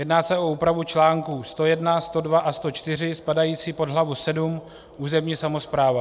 Jedná se o úpravu článků 101, 102 a 104 spadající pod hlavu VII Územní samospráva.